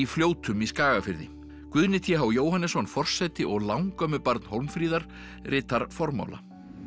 Fljótum í Skagafirði Guðni t h Jóhannesson forseti og langömmubarn Hólmfríðar ritar formála